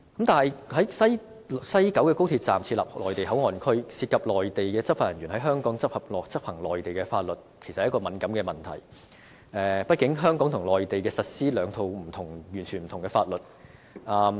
但是，在西九高鐵站設立內地口岸區，涉及內地執法人員在香港執行內地法律，其實是一個敏感問題，畢竟香港和內地實施兩套完全不同的法律。